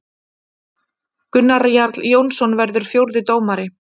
Gunnar Jarl Jónsson verður fjórði dómari.